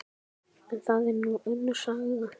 En það er nú önnur saga.